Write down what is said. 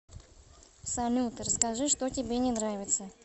салют расскажи что тебе не нравится